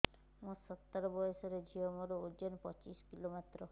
ମୁଁ ସତର ବୟସର ଝିଅ ମୋର ଓଜନ ପଚିଶି କିଲୋ ମାତ୍ର